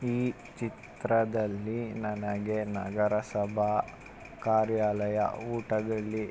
ಈ ಚಿತ್ರದಲ್ಲಿ ನನಗೆ ನಗರಸಬಾ ಕಾರ್ಯಾಲಯ ಊಟದಲ್ಲಿ --